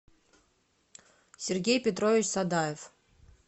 сергей петрович садаев